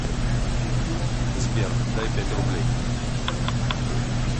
сбер дай пять рублей